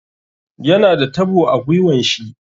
Yana da tabo a gwiwan shi.